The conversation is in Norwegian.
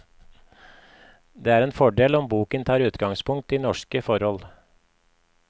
Det er en fordel om boken tar utgangspunkt i norske forhold.